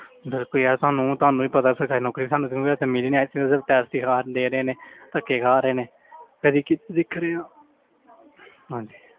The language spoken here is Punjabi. ਦੱਸ ਵੀ ਯਾਰ ਤੁਹਾਨੂੰ ਤੁਹਾਨੂੰ ਵੀ ਪਤਾ ਸਰਕਾਰੀ ਨੌਕਰੀ ਸਾਨੂੰ ਤੇ ਮਤਲਬ ਮਿਲੀ ਨੀ ਹੈ ਧੱਕੇ ਖਾ ਰਹੇ ਨੇ ਕਦੇ ਕਿਸੇ ਦੇਖਣੇ ਆਂ ਹਾਂਜੀ